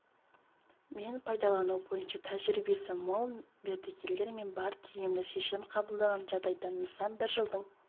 мен пайдалану бойынша тәжірибесі мол мердігерлер де бар тиімді шешім қабылдаған жағдайда нысан бір жылдың